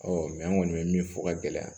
an kɔni bɛ min fɔ ka gɛlɛya